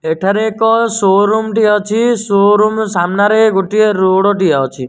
ଏଠାରେ ଏକ ସୋରୁମ ଠି ସୋରୁମ ସାମ୍ନାରେ ଗୋଟିଏ ରୋଡ ଟିଏ ଅଛି।